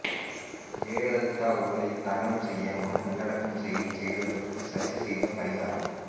ஜெயலலிதா உடலை தகனம் செய்யாமல் நல்லடக்கம் செய்ததற்கு சசி செய்த பரிகாரம்